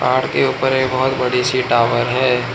पहाड़ के ऊपर एक बहोत बड़ी सी टॉवर है।